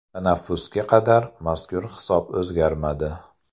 Tanaffusga qadar, mazkur hisob o‘zgarmadi.